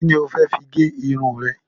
Kíni o fẹ́ fi gẹ irun rẹ?